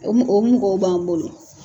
o mɔ o mɔgɔw b'an bolo.